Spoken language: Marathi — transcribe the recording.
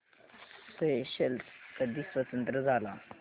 स्येशेल्स कधी स्वतंत्र झाला